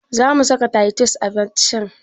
Zamu saka taitus a abincin?